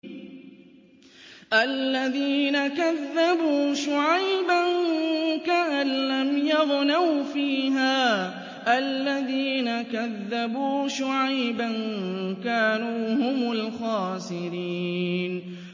الَّذِينَ كَذَّبُوا شُعَيْبًا كَأَن لَّمْ يَغْنَوْا فِيهَا ۚ الَّذِينَ كَذَّبُوا شُعَيْبًا كَانُوا هُمُ الْخَاسِرِينَ